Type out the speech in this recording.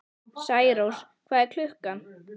Særós, hvað er klukkan?